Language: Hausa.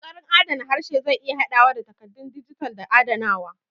Ƙoƙarin adana harshe zai iya haɗawa da takaddun dijital da adanawa.